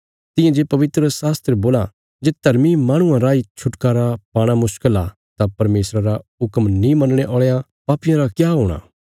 तियां जे पवित्रशास्त्र बोलां जे धर्मी माहणुआं राई छुटकारा पाणा मुश्कल आ तां परमेशरा रा हुक्म नीं मनणे औल़े पापियां रा क्या हूणा